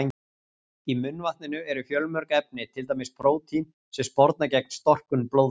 Í munnvatninu eru fjölmörg efni, til dæmis prótín sem sporna gegn storknun blóðs.